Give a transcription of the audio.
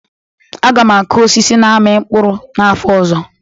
Aga m akụ osisi na-ami mkpụrụ n'afọ ọzọ